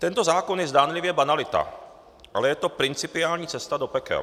Tento zákon je zdánlivě banalita, ale je to principiální cesta do pekel.